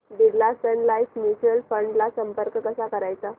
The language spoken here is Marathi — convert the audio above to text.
Birla Sun Life mutual fund ला संपर्क कसा करायचा